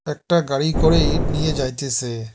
একটা গাড়ি করে ইট নিয়ে যাইতেছে।